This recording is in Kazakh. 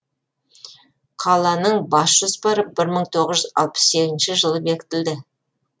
қаланың бас жоспары бір мың тоғыз жүз алпыс сегізінші жылы бекітілді